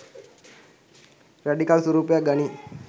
Radical ස්වරූපයක් ගනියි.